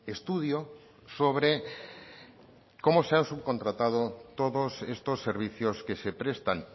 estudio sobre cómo se han subcontratado todos estos servicios que se prestan